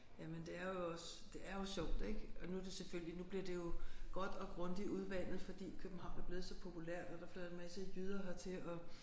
Jamen det er jo også det er jo sjovt ik og nu er det selvfølgelig nu bliver det jo godt og grundigt udvandet fordi København er blevet så populært og der flytter en masse jyder hertil og